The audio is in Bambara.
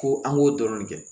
Ko an k'o dɔrɔn de kɛ